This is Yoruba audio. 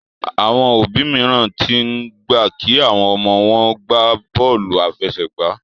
Àwọn òbí míràn t'in gbà kí àwọn ọmọ wón gbàbóòlù afẹsẹgba